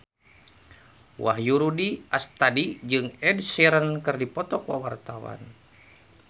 Wahyu Rudi Astadi jeung Ed Sheeran keur dipoto ku wartawan